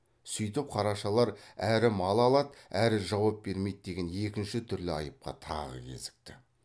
сүйтіп қарашалар әрі мал алады әрі жауап бермейді деген екінші түрлі айыпқа тағы кезікті